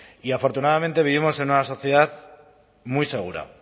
y afortunadamente vivimos en una sociedad muy segura